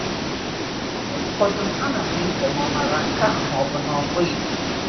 Mgbe ụfọdụ, ana m eche ma ọ mara nke a ma ọ bụ na ọ bụghị?.